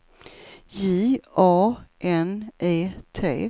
J A N E T